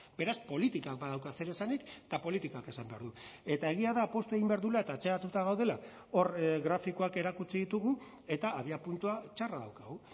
beraz politikak badauka zer esanik eta politikak esan behar du eta egia da poztu egin behar duela eta atzeratuta gaudela hor grafikoak erakutsi ditugu eta abiapuntua txarra daukagu